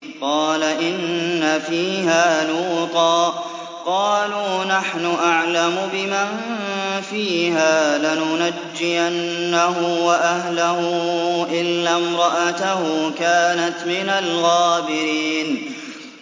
قَالَ إِنَّ فِيهَا لُوطًا ۚ قَالُوا نَحْنُ أَعْلَمُ بِمَن فِيهَا ۖ لَنُنَجِّيَنَّهُ وَأَهْلَهُ إِلَّا امْرَأَتَهُ كَانَتْ مِنَ الْغَابِرِينَ